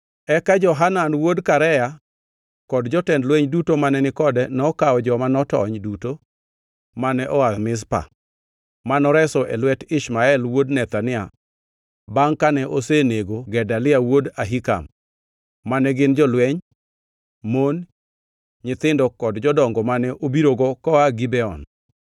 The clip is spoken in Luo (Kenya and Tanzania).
Eka Johanan wuod Karea kod jotend lweny duto mane ni kode nokawo joma notony duto mane oa Mizpa, ma noreso e lwet Ishmael wuod Nethania bangʼ kane osenego Gedalia wuod Ahikam; mane gin jolweny, mon, nyithindo kod jodongo mane obirogo koa Gibeon.